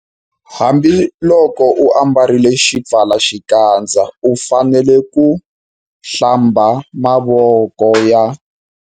Hambiloko u ambarile xipfalaxikandza u fanele ku- Hlamba mavoko ya.